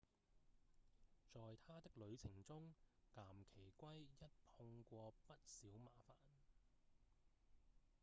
在他的旅程中岩崎圭一碰過不少麻煩